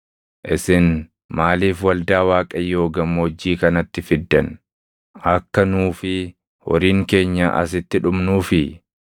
Isin maaliif waldaa Waaqayyoo gammoojjii kanatti fiddan? Akka nuu fi horiin keenya asitti dhumnuufii?